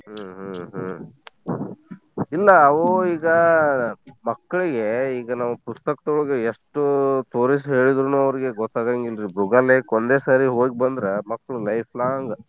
ಹ್ಮ್‌ ಹ್ಮ್‌ ಹ್ಮ್‌ ಇಲ್ಲಾ ಅವು ಈಗ ಮಕ್ಕಳಗೆ ಈಗ ಪುಸ್ತಕ್ದೋಳ್ಗ ಎಷ್ಟ್ ತೋರಿಸ್ ಹೇಳೀದ್ರುನು ಅವ್ರಗೆ ಗೊತ್ತಾಗಂಗಿಲ್ಲರಿ ಮೃಗಾಲಯಕ್ಕ ಒಂದೇ ಸಾರಿ ಹೋಗ್ ಬಂದ್ರ ಮಕ್ಳು life long .